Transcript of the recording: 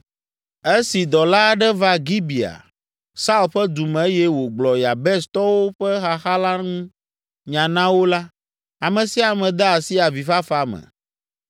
Esi dɔla aɖe va Gibea, Saul ƒe du me eye wògblɔ Yabestɔwo ƒe xaxa la ŋu nya na wo la, ame sia ame de asi avifafa me.